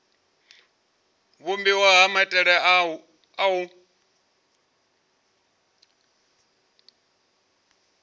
vhumbiwa ha maitele a u